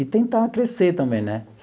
e tentar crescer também, né?